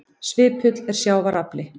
Svipull er sjávar afli.